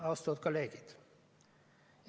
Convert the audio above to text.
Austatud kolleegid!